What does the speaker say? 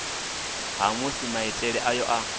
ha musi maitele ayo a